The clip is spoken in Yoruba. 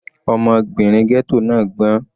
Ọmọbìnrin ghetto náà gbọ́n.